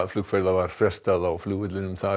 flugferða var frestað á flugvellinum